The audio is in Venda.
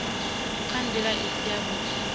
nga nḓila i si yavhuḓi